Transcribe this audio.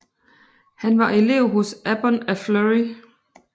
Han var elev hos Abbon af Fleury